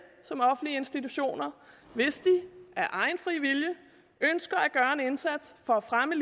som offentlige institutioner hvis de af egen fri vilje ønsker at gøre en indsats for at fremme